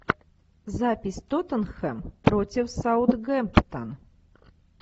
запись тоттенхэм против саутгемптон